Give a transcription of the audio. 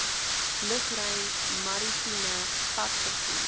lugruim maritieme padvervoer